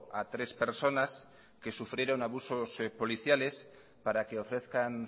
a tres personas que sufrieron abusos policiales para que ofrezcan